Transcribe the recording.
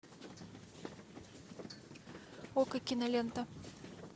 окко кинолента